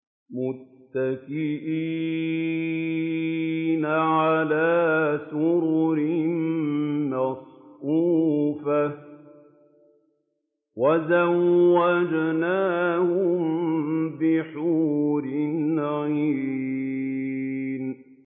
مُتَّكِئِينَ عَلَىٰ سُرُرٍ مَّصْفُوفَةٍ ۖ وَزَوَّجْنَاهُم بِحُورٍ عِينٍ